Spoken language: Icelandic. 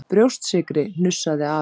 Brjóstsykri!!! hnussaði afi.